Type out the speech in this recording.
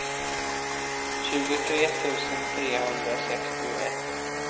tjugotre tusen trehundrasextioett